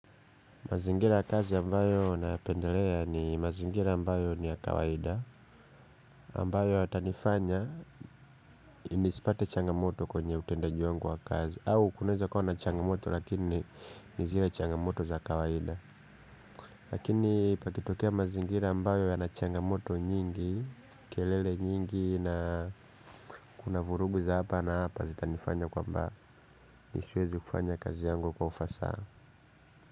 Mazingira ya kazi ambayo nayapendelea ni mazingira ambayo ni ya kawaida ambayo yatanifanya nisipate changamoto kwenye utendaji wangu wa kazi. Au kunaeza kuwa na changamoto lakini ni zile changamoto za kawaida. Lakini pakitokea mazingira ambayo yana changamoto nyingi kelele nyingi na kuna vurugu za apa na apa zitanifanya kwamba mi siwezi kufanya kazi yangu kwa ufasa.